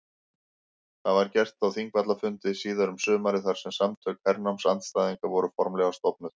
Það var gert á Þingvallafundi síðar um sumarið þar sem Samtök hernámsandstæðinga voru formlega stofnuð.